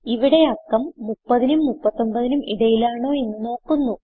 ഇവിടെ അക്കം 30നും 39നും ഇടയിലാണോയെന്ന് നോക്കുന്നു